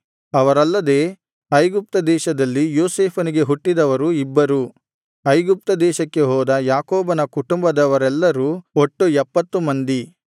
ಅವರಲ್ಲದೆ ಐಗುಪ್ತ ದೇಶದಲ್ಲಿ ಯೋಸೇಫನಿಗೆ ಹುಟ್ಟಿದವರು ಇಬ್ಬರು ಐಗುಪ್ತ ದೇಶಕ್ಕೆ ಹೋದ ಯಾಕೋಬನ ಕುಟುಂಬದವರೆಲ್ಲರು ಒಟ್ಟು ಎಪ್ಪತ್ತು ಮಂದಿ